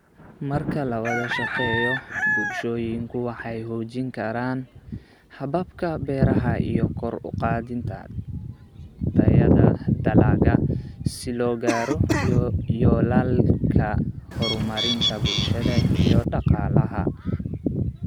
Marka la wada shaqeeyo, bulshooyinku waxay xoojin karaan hababka beeraha iyo kor u qaadida tayada dalagga, si loo gaaro yoolalka horumarinta bulshada iyo dhaqaalaha.